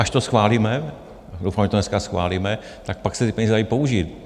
Až to schválíme, doufám, že to dneska schválíme, tak pak se ty peníze dají použít.